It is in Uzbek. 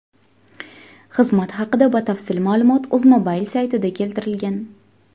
Xizmat haqida batafsil ma’lumot UzMobile saytida keltirilgan .